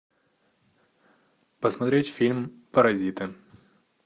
посмотреть фильм паразиты